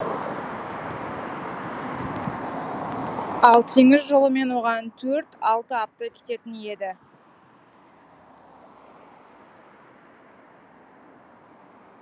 ал теңіз жолымен оған төрт алты апта кететін еді